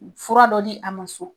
Fura dɔ di a ma sɔn.